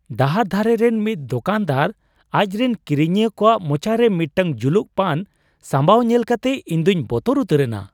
ᱰᱟᱦᱟᱨ ᱫᱷᱟᱨᱮ ᱨᱮᱱ ᱢᱤᱫ ᱫᱚᱠᱟᱱ ᱫᱟᱨ ᱟᱡ ᱨᱮᱱ ᱠᱤᱨᱤᱧᱤᱭᱟᱹ ᱠᱚᱣᱟᱜ ᱢᱚᱪᱟ ᱨᱮ ᱢᱤᱫᱴᱟᱝ ᱡᱩᱞᱩᱜ ᱯᱟᱱ ᱥᱟᱢᱵᱟᱣ ᱧᱮᱞ ᱠᱟᱛᱮ ᱤᱧ ᱫᱩᱧ ᱵᱚᱛᱚᱨ ᱩᱛᱟᱹᱨ ᱮᱱᱟ ᱾